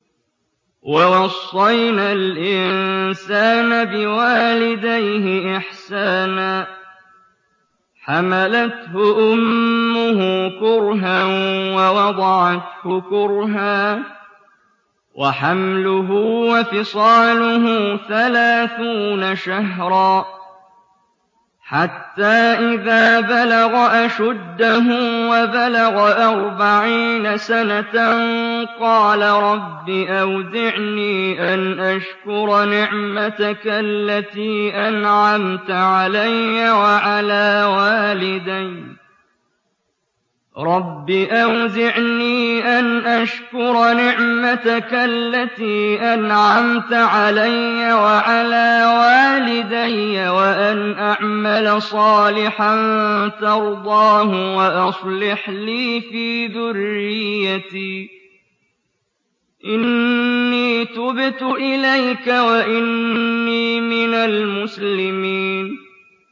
وَوَصَّيْنَا الْإِنسَانَ بِوَالِدَيْهِ إِحْسَانًا ۖ حَمَلَتْهُ أُمُّهُ كُرْهًا وَوَضَعَتْهُ كُرْهًا ۖ وَحَمْلُهُ وَفِصَالُهُ ثَلَاثُونَ شَهْرًا ۚ حَتَّىٰ إِذَا بَلَغَ أَشُدَّهُ وَبَلَغَ أَرْبَعِينَ سَنَةً قَالَ رَبِّ أَوْزِعْنِي أَنْ أَشْكُرَ نِعْمَتَكَ الَّتِي أَنْعَمْتَ عَلَيَّ وَعَلَىٰ وَالِدَيَّ وَأَنْ أَعْمَلَ صَالِحًا تَرْضَاهُ وَأَصْلِحْ لِي فِي ذُرِّيَّتِي ۖ إِنِّي تُبْتُ إِلَيْكَ وَإِنِّي مِنَ الْمُسْلِمِينَ